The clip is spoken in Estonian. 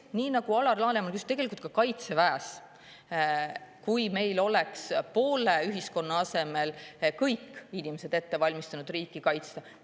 Nii nagu Alar Laneman, tegelikult ka Kaitseväes: kui meil poole ühiskonna asemel oleksid kõik inimesed ette valmistanud, et riiki kaitsta.